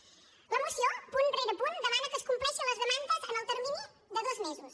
la moció punt rere punt demana que es compleixin les demandes en el termini de dos mesos